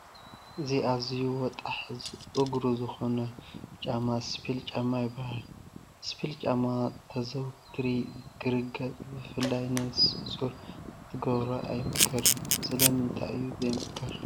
እዝ ኣዝዩ ወጣሕ እግሩ ዝኾነ ጫማ ስፒል ጫማ ይበሃል፡፡ ስፒል ጫማ ተዘውቲሩ ክርገፅ ብፍላይ ነብሰ ፁር ክትገብሮ ኣይምከርን፡፡ ስለምንታይ እዩ ዘይምከር?